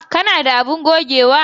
Ka na da abun gogewa?